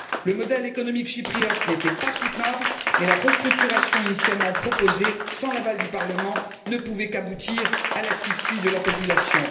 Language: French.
Le modèle économique chypriote n'était pas soutenable, mais la restructuration initialement proposée, sans l'aval du Parlement, ne pouvait qu'aboutir à l'asphyxie de la population.